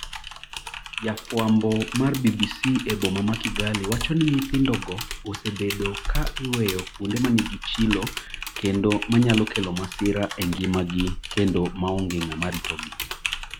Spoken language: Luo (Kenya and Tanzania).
Jafwambo mar BBC e boma ma Kigali wacho ni nyithindo go osebedo ka iweyo kuonde ma nigi chilo kendo manyalo kelo masira e ngimagi kendo maonge ng'ama ritogi.